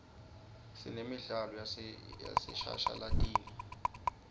sinemidlalo yaseshashalatini